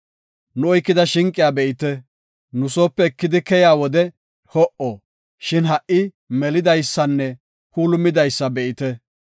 “Nu oykida shinqiya be7ite. Nu soope ekidi keyiya wode ho77o, shin ha77i melidaysanne puulumidaysa be7ite.